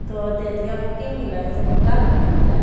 तो देहतिया में की मिल हइ सब मुर्गा के मीट मिल हइ ?